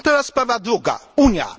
A teraz sprawa druga Unia.